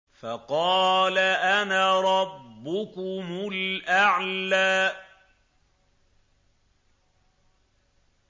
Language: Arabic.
فَقَالَ أَنَا رَبُّكُمُ الْأَعْلَىٰ